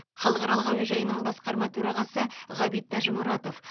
халықаралық әуежайының басқарма төрағасы ғабит тәжімұратов